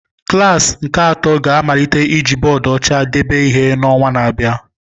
Klasi nke atọ ga-amalite iji bọọdụ ọcha debe ihe n'ọnwa na-abịa.